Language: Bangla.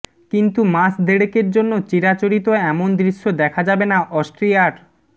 কিন্তু মাস দেড়েকের জন্য চিরাচরিত এমন দৃশ্য দেখা যাবে না অস্ট্রিয়ার